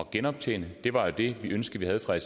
genoptjene det var det ønske vi havde fra